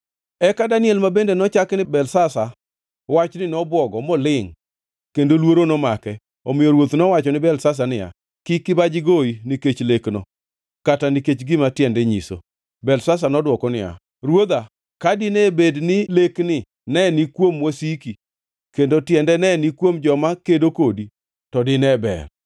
Eka Daniel ma bende nochaki ni Belteshazar wachni nobwogo molingʼ kendo luoro nomake. Omiyo ruoth nowacho ni Belteshazar niya, “Kik kibaji goyi nikech lekno kata nikech gima tiende nyiso.” Belteshazar nodwoko niya, “Ruodha, ka dine bed ni lekni ne ni kuom wasiki kendo tiende ne ni kuom joma kedo kodi, to dine ber!